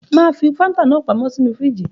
Mà á fi Fanta náà pamọ́ sínú fíríjì.